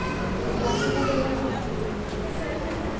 sikwati kubeka kudla kuto